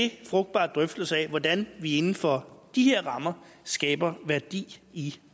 i frugtbare drøftelser af hvordan vi inden for de her rammer skaber værdi i